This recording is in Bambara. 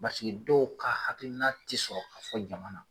Paseke dɔw ka hakilina ti sɔrɔ ka fɔ jama na.